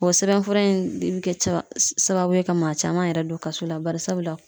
O sɛbɛnfura in de be kɛ caba sababu ye ka maa caman yɛrɛ don kaso la bari sabula